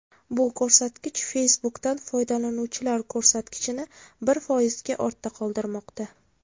Bu ko‘rsatkich Facebook’dan foydalanuvchilar ko‘rsatkichini bir foizga ortda qoldirmoqda.